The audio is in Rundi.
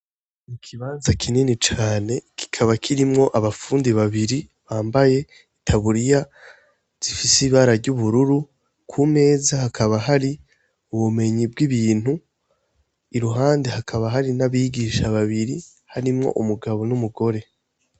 Ikibanza kinini cane kikaba kirimwo abafundi babiri bambaye itaburiya zifise ibara ryubururu kumeza hakaba hari ubumenyi bwibintu iruhande hakaba hari n'abagisha babiri harimwo umugabo n'umugore.